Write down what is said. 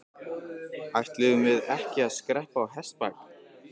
Ætluðum við ekki að skreppa á hestbak?